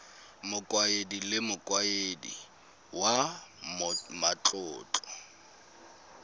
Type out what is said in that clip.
mokaedi le mokaedi wa matlotlo